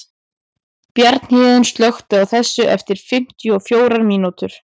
Bjarnhéðinn, slökktu á þessu eftir fimmtíu og fjórar mínútur.